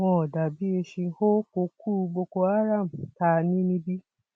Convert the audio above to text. wọn dà bíi eéṣín ó kokú boko haram tá a ní níbí